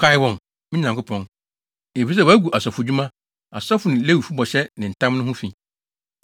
Kae wɔn, me Nyankopɔn, efisɛ wɔagu asɔfodwuma, asɔfo ne Lewifo bɔhyɛ ne ntam no ho fi.